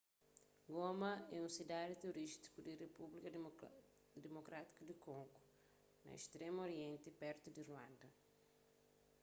goma é un sidadi turístiku di repúblika dimokrátiku di kongo na stremu orienti pertu di ruanda